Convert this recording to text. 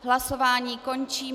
Hlasování končím.